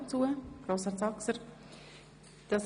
– Das ist nicht der Fall.